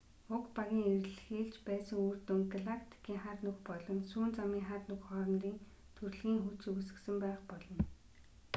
уг багийн эрэлхийлж байсан үр дүнг галактикийн хар нүх болон сүүн замын хар нүх хоорондын түрлэгийн хүч үүсгэсэн байх болно